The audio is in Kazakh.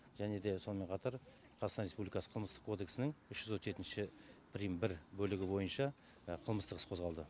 және де сонымен қатар қазақстан республикасы қылмыстық кодексінің үш жүз отыз жетінші прим бір бөлігі бойынша қылмыстық іс қозғалды